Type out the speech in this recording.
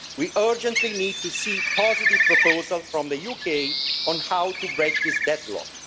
We urgently need to see a positive proposal from the UK on how to break this deadlock.